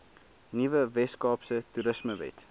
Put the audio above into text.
nuwe weskaapse toerismewet